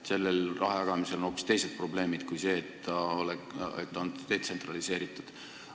Selle rahajagamisega on hoopis teised probleemid kui see, et ta on detsentraliseeritud.